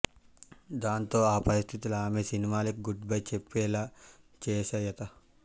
దాంతో ఆ పరిస్థితులు ఆమె సినిమాలకి గుడ్ బై చెప్పేలా చేశాయత